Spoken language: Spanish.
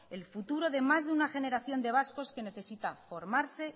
el futuro de más de una generación de vascos que necesitan formarse